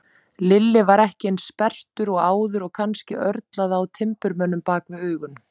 Lilli var ekki eins sperrtur og áður, kannski örlaði á timburmönnum bak við augun.